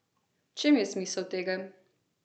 V čem je smisel tega?